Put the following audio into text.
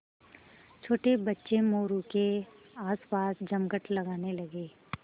छोटे बच्चे मोरू के आसपास जमघट लगाने लगे